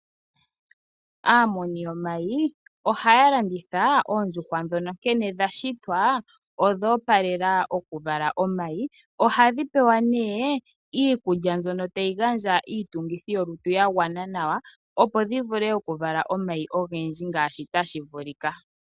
Aamuni yomayi ohaya landitha oondjuhwa ndhono nkene dhashitwa odha opalela okuvala omayi . Ohadhi pewa nee iikulya mbyono tayi gandja iitungithi yokutu yagwana nawa opo dhivule okuvala omayi ogendji ngaashi tashi vulika.